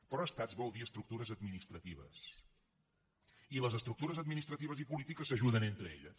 però estats vol dir estructures administratives i les estructures administratives i polítiques s’ajuden entre elles